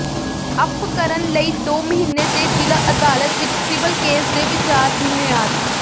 up ਕਰਨ ਲਈ ਦੋ ਮਹੀਨੇ ਦੇ ਜ਼ਿਲ੍ਹਾ ਅਦਾਲਤ ਵਿੱਚ ਸਿਵਲ ਕੇਸ ਦੇ ਵਿਚਾਰ ਦੀ ਮਿਆਦ